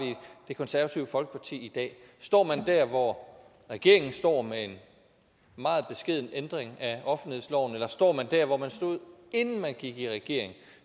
det konservative folkeparti i dag står man der hvor regeringen står med en meget beskeden ændring af offentlighedsloven eller står man der hvor man stod inden man gik i regering